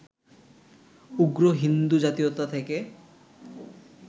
উগ্র হিন্দু জাতীয়তা থেকে